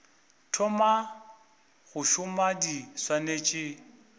thoma go šoma di swanetše